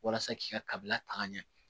Walasa k'i ka kabila taga ɲɛ